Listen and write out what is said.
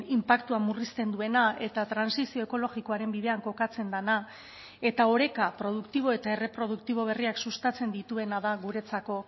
inpaktua murrizten duena eta trantsizio ekologikoaren bidean kokatzen dena eta oreka produktibo eta erreproduktibo berriak sustatzen dituena da guretzako